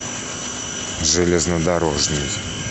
железнодорожный